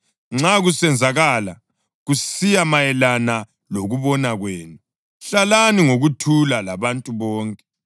Nxa kusenzakala, kusiya mayelana lokubona kwenu, hlalani ngokuthula labantu bonke.